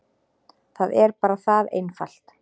Það er bara það einfalt.